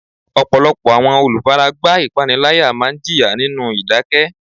Ọ̀pọ̀lọpọ̀ àwọn olùfaragbá ìpániláyà máa ń jìyà nínú ìdákẹ́.